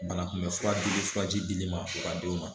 Banakunbɛn fura dili furaji dili ma u ka denw ma